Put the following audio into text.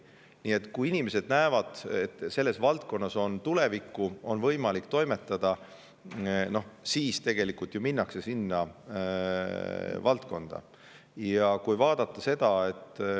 Nii et kui inimesed näevad, et selles valdkonnas on tulevikku ja seal on võimalik toimetada, siis minnakse sinna valdkonda.